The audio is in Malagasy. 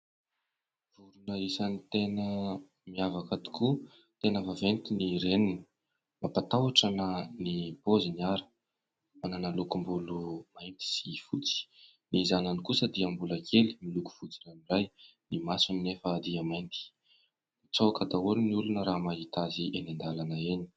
Vorona isany tena miavaka tokoa, tena vaventy ny reniny, mampatahotra na ny paoziny ary manana lokom-bolo mainty sy fotsy, ny zanany kosa dia mbola kely miloko fotsy ranoray, ny masony nefa dia mainty mitsaoka daholo ny olona raha mahita azy eny an-dalana eny.